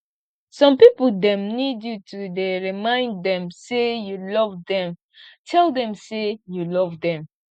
some pipo dem need you to dey remind dem sey you love dem tell dem sey you love dem